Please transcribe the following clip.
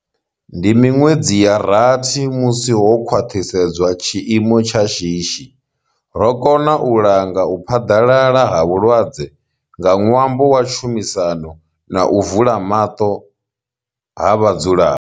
Ndi miṅwedzi ya rathi musi ho khwaṱhisedzwa tshiimo tsha shishi. Ro kona u langa u phaḓalala ha vhulwadze nga ṅwambo wa tshumisano na u vula maṱo ha vhadzulapo.